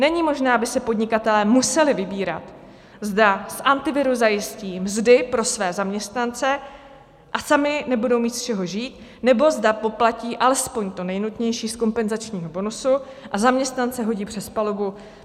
Není možné, aby si podnikatelé museli vybírat, zda z Antiviru zajistí mzdy pro své zaměstnance a sami nebudou mít z čeho žít, nebo zda poplatí alespoň to nejnutnější z kompenzačního bonusu a zaměstnance hodí přes palubu.